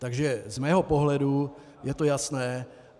Takže z mého pohledu je to jasné.